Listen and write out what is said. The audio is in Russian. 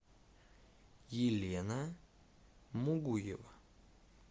елена мугуева